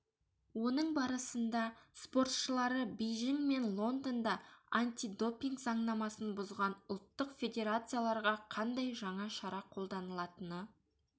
оның барысында спортшылары бейжің мен лондонда антидопинг заңнамасын бұзған ұлттық федерацияларға қандай жаңа шара қолданылатыны